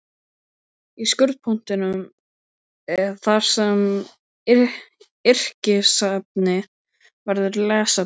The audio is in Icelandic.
Í skurðpunktinum þar sem yrkisefni verður lesefni